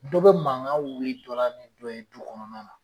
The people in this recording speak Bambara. Dɔw be mankan wili dɔ la ni dɔ ye du kɔnɔna na.